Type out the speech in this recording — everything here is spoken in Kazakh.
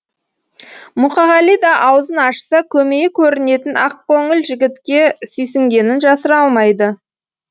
мұқағали да аузын ашса көмейі көрінетін ақкөңіл жігітке сүйсінгенін жасыра алмады